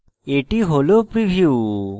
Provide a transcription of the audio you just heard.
এটি হল preview